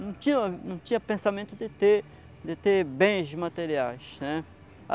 não tinha, não tinha pensamento de ter bens materiais, né.